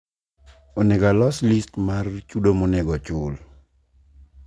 onego alos list mar chudomonego ochul